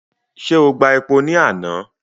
Ṣé o gba epo ni àná?